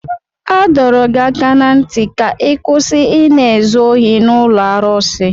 A dọrọ gị aka ná ntị ka ị kwụsị Ị na-ezu ohi n'ụlọ arụsị!